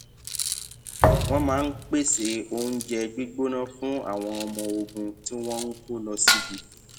wón máa ń pèsè oúnjẹ gbígbóná fún àwọn ọmọ ogun tí wón ń kó lọ síbi